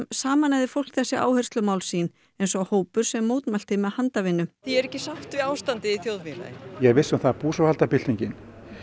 sameinaði fólk þessi áherslumál sín eins og hópur sem mótmælti með handavinnu ég er ekki sátt við ástandið í þjóðfélaginu ég er viss um það að búsáhaldabyltingin